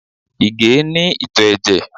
Ìgè é ní ìtò ẹ̀jẹ̀